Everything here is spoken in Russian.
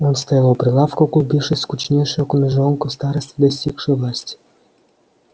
он стоял у прилавка углубившись в скучнейшую книжонку старосты достигшие власти